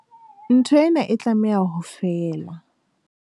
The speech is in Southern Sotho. Ntho ena e tlameha ho fela.